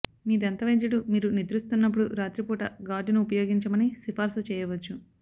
మీ దంతవైద్యుడు మీరు నిద్రిస్తున్నప్పుడు రాత్రిపూట గార్డును ఉపయోగించమని సిఫార్సు చేయవచ్చు